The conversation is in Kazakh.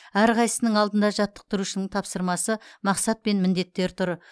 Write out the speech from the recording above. әрқайсысының алдында жаттықтырушының тапсырмасы мақсат пен міндеттер тұр